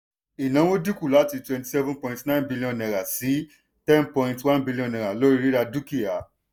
ìnáwó dínkù láti cs] twenty-seven point nine billion naira sí ten point one billion niara lórí rírà dukia.